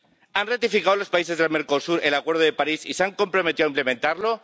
¿Han ratificado los países del Mercosur el Acuerdo de París y se han comprometido a implementarlo?